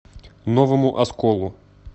новому осколу